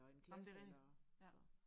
Jamen det rigtigt ja